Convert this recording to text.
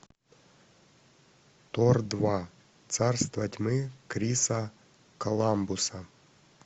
тор два царство тьмы криса коламбуса